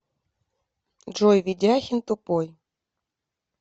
джой ведяхин тупой